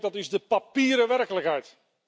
Ik denk dat is de papieren werkelijkheid!